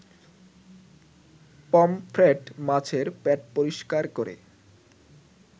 pomfret মাছের পেট পরিষ্কার করে